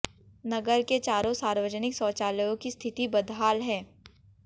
नगर के चारों सार्वजनिक शौचायलयों की स्थिति बदहाल है